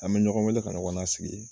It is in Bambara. An bɛ ɲɔgɔn weele ka ɲɔgɔn lasigi